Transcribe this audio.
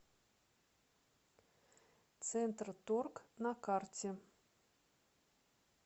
центрторг на карте